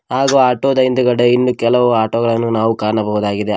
ಹಾಗೂ ಆಟೋದ ಹಿಂದಗಡೆ ಇನ್ನು ಕೆಲವು ಆಟೊಗಳನ್ನು ನಾವು ಕಾಣಬಹುದಾಗಿದೆ.